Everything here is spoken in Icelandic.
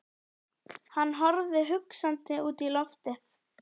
Hann horfði hugsandi út í loftið.